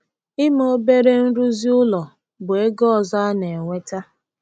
Ime obere nrụzi ụlọ bụ ego ọzọ a na-enweta.